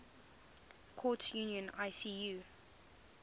courts union icu